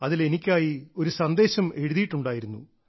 അതിൽ എനിക്കായി ഒരു സന്ദേശം എഴുതിയിട്ടുണ്ടായിരുന്നു